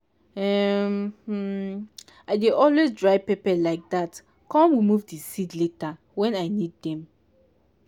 um um i dey always dry pepper like that com remove di seed later wen i need dem.